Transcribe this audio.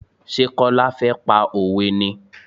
Ṣé Kọ́lá fẹ́ pa òwe ni?